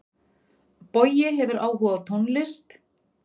Bogi hefur áhuga á tónlist.